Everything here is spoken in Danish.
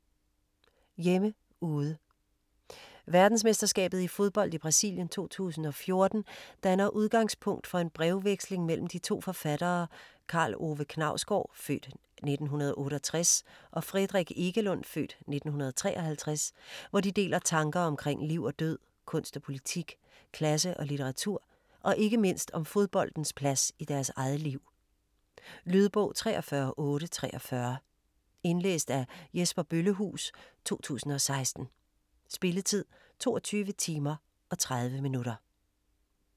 Hjemme - ude Verdensmesterskabet i fodbold i Brasilien 2014 danner udgangspunkt for en brevveksling mellem de to forfattere Karl Ove Knausgaard (f. 1968) og Fredrik Ekelund (f. 1953), hvor de deler tanker omkring liv og død, kunst og politik, klasse og litteratur og ikke mindst om fodboldens plads i deres eget liv. Lydbog 43843 Indlæst af Jesper Bøllehuus, 2016. Spilletid: 22 timer, 30 minutter.